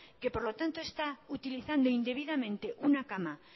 que por lo tanto está utilizando indebidamente una cama